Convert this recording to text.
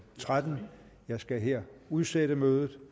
tretten jeg skal her udsætte mødet